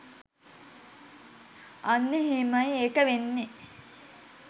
අන්න එහෙමයි එක වෙන්නෙ